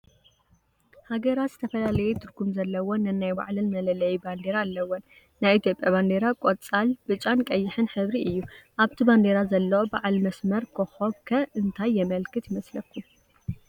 ሃገራት ዝተፈላለየ ትርጉም ዘለወን ነናይ ባዕለን መለለዪ ባንዲራ ኣለወን፡፡ ናይ ኢትዮጵያ ባንዴራ ቆፃል፣ ብጫን ቀይሕን ሕብሪ እዩ፡፡ ኣብቲ ባንዴራ ዘሎ በዓል መስመር ኮኸብ ከ እንታይ የመልክት ይመስለኩም?